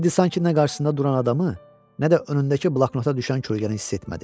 Teddy sanki nə qarşısında duran adamı, nə də önündəki bloknota düşən kölgəni hiss etmədi.